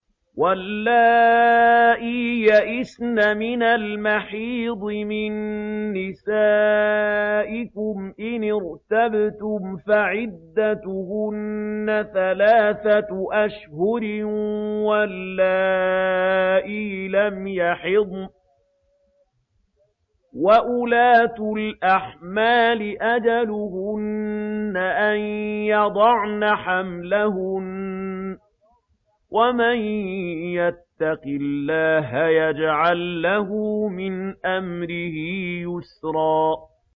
وَاللَّائِي يَئِسْنَ مِنَ الْمَحِيضِ مِن نِّسَائِكُمْ إِنِ ارْتَبْتُمْ فَعِدَّتُهُنَّ ثَلَاثَةُ أَشْهُرٍ وَاللَّائِي لَمْ يَحِضْنَ ۚ وَأُولَاتُ الْأَحْمَالِ أَجَلُهُنَّ أَن يَضَعْنَ حَمْلَهُنَّ ۚ وَمَن يَتَّقِ اللَّهَ يَجْعَل لَّهُ مِنْ أَمْرِهِ يُسْرًا